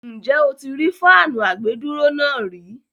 Ǹjẹ́ o ti rí fáànù àgbèdúró náà rí?